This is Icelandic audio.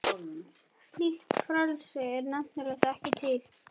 Slíkt frelsi er nefnilega ekki til.